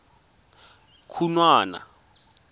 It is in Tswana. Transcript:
khunwana